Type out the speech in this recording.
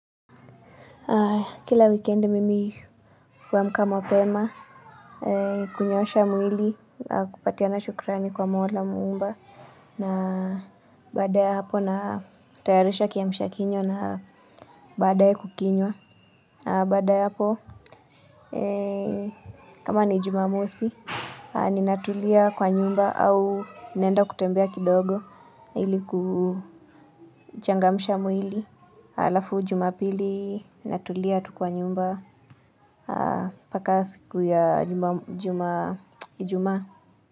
Kila wikendi mimi huamka mapema, kunyosha mwili, na kupatiana shukrani kwa mola muumba. Na baada ya hapo natayarisha kiamsha kinywa na badae kukinywa. Baada ya hapo, kama ni jumamosi, ninatulia kwa nyumba au nqenda kutembea kidogo ili kuchangamisha mwili. Alafu jumapili natulia tu kwa nyumba. Paka siku ya Juma Juma ijumaa.